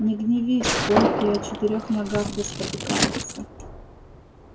не гневись конь и о четырёх ногах да спотыкается